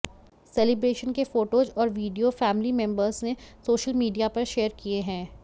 celebration के photos और video family members ने सोशल मीडिया पर शेयर किए हैं